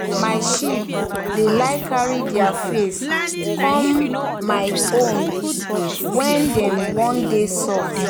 my sheep dey like carry deir face come my own when dem one dey soft.